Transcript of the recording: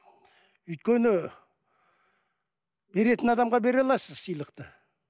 өйткені беретін адамға бере аласыз сыйлықты